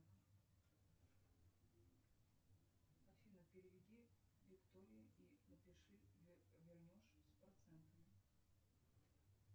афина переведи виктории и напиши вернешь с процентами